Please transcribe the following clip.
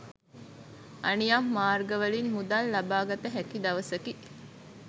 අනියම් මාර්ගවලින් මුදල් ලබාගත හැකි දවසකි.